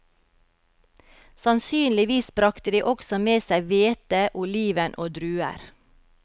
Sannsynligvis brakte de også med seg hvete, oliven og druer.